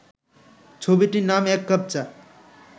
ছবিটির নাম এক কাপ চা